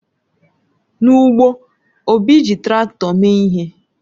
N'ugbo, Obi ji Traktọ mee ihe.